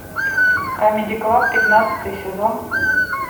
камеди клаб пятнадцатый сезон